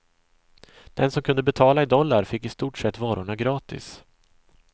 Den som kunde betala i dollar fick i stort sett varorna gratis.